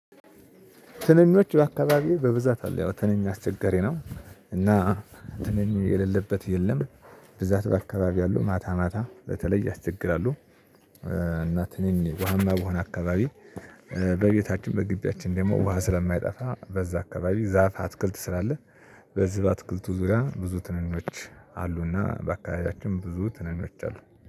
ትንኖች በአካባቢዬ በብዛት አለ ያው ትንኞች አስቸጋሪ ነው እና ትንኝ የሌለበት የለም። ብዛት በአካባቢው ያለው ማታ ማታ በተለይ ያስቸግራሉ። እናት እኔም ዋህማ በሆነ አካባቢ በቤታችን በግቢያችን ደግሞ ውሃ ስለማይጠፋ በዛ አካባቢ ዛፍ አትክልት ስላለ። በዚህ በአትክልቱ ዙሪያ ብዙ ትንኞች አሉና በአከባቢያችን ብዙ ትንኞች አሉ